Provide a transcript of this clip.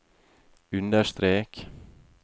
understrek